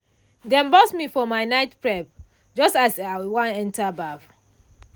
dem burst me for my night prep just as i wan enter baff.